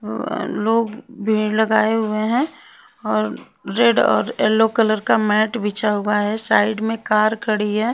लोग भीड़ लगाए हुए हैं और रेड और येलो कलर का मैट बिछा हुआ है साइड में कार खड़ी है।